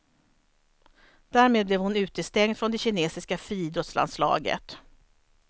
Därmed blev hon utestängd från det kinesiska friidrottslandslaget.